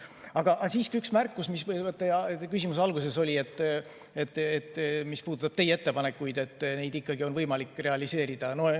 Aga siiski üks märkus kohta, mis teie küsimuse alguses oli ja puudutas seda, et teie ettepanekuid ikkagi on võimalik realiseerida.